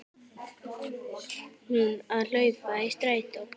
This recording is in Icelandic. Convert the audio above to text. Hún að hlaupa í strætó.